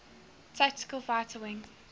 tactical fighter wing